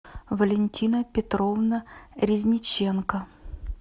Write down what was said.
валентина петровна резниченко